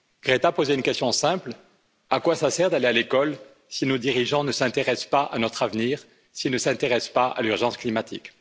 Greta posait une question simple à quoi ça sert d'aller à l'école si nos dirigeants ne s'intéressent pas à notre avenir, s'ils ne s'intéressent pas à l'urgence climatique?